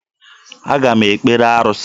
Aga m ekpere arụsị.